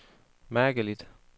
mærkeligt